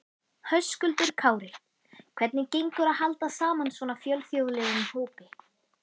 Höskuldur Kári: Hvernig gengur að halda saman svona fjölþjóðlegum hópi?